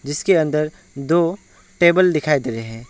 जिसके अंदर दो टेबल दिखाई दे रहे--